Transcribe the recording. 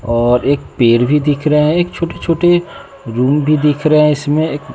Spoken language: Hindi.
और एक पेर भी दिख रहा है एक छोटे छोटे रूम भी दिख रहा इसमें एक--